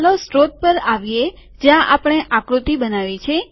ચાલો સ્ત્રોત પર આવીએ જ્યાં આપણે આકૃતિ બનાવી છે